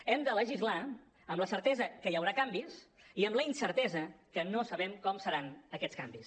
hem de legislar amb la certesa que hi haurà canvis i amb la incertesa que no sabem com seran aquests canvis